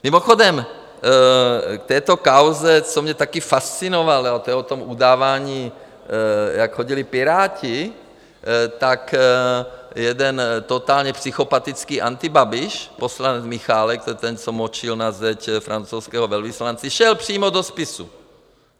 Mimochodem, k této kauze, což mě taky fascinovalo - to je o tom udávání, jak chodili Piráti, tak jeden totálně psychopatický antibabiš, poslanec Michálek, to je ten, co močil na zeď francouzskému velvyslanci - šel přímo do spisu.